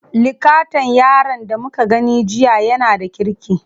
Likatan yaron da muka gani jiya yana da kirki.